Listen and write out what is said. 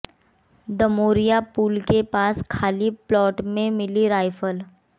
दमोरिया पुल के पास खाली प्लाट में मिली राइफल